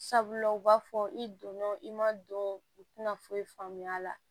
Sabula u b'a fɔ i donna i ma don u tɛna foyi faamuya a la